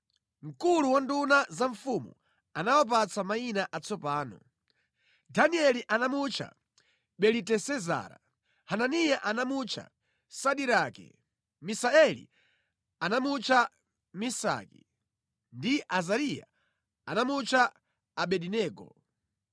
Mkulu wa nduna za mfumu anawapatsa mayina atsopano: Danieli anamutcha Belitesezara; Hananiya anamutcha Sadirake; Misaeli anamutcha Mesaki; ndi Azariya anamutcha Abedenego.